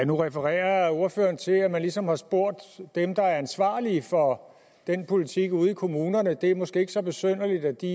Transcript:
nu refererede ordføreren til at man ligesom har spurgt dem der er ansvarlige for den politik ude i kommunerne og det er måske ikke så besynderligt at de